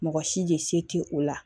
Mɔgɔ si de se tɛ o la